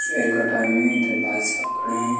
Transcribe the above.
का टाइम है इधर भाई साहब खड़े हैं।